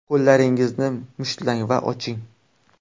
Qo‘llaringizni mushtlang va oching.